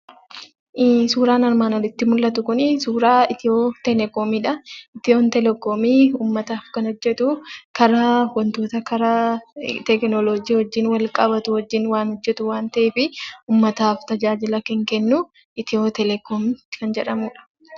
Suuraan armaan olitti mul'atu kun, suuraa Itiyoo telekoomiidha. Itiyoo telekoomiin uummataaf kan hojjetu, karaa waantota karaa teekinooloojii wajjin wal qabatu wajjin waan hojjetu waan ta'eef, uummata uummataaf tajaajila kan kennu; Itiyoo telekoom kan jedhamudha.